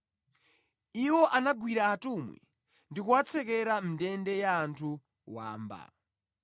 Iwo anagwira atumwi ndi kuwatsekera mʼndende ya anthu wamba.